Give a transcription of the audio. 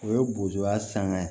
O ye bozoya sanga ye